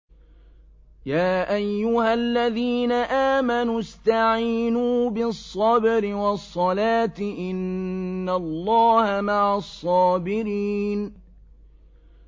يَا أَيُّهَا الَّذِينَ آمَنُوا اسْتَعِينُوا بِالصَّبْرِ وَالصَّلَاةِ ۚ إِنَّ اللَّهَ مَعَ الصَّابِرِينَ